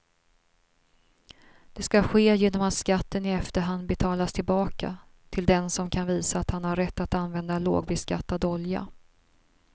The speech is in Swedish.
Det ska ske genom att skatten i efterhand betalas tillbaka till den som kan visa att han har rätt att använda lågbeskattad olja.